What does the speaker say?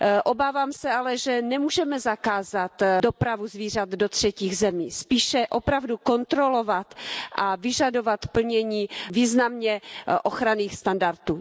Obávám se ale, že nemůžeme zakázat dopravu zvířat do třetích zemí, spíše opravdu kontrolovat a vyžadovat plnění významně ochranných standardů.